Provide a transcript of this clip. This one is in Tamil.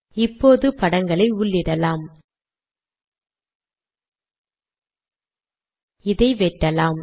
இப்போது படங்களை உள்ளிடலாம் இதை வெட்டலாம்